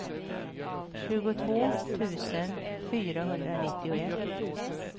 tjugotvå tusen fyrahundranittioett